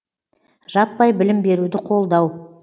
жаппай білім беруді қолдау